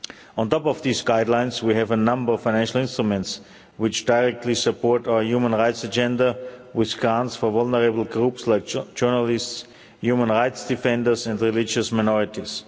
On top of these guidelines we have a number of financial instruments which directly support our human rights agenda which scans for vulnerable groups like journalists, human rights defenders and religious minorities.